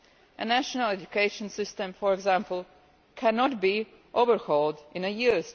A national education system, for example, cannot be overhauled within a year.